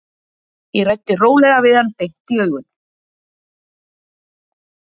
Ég ræddi rólega við hann, beint í augun.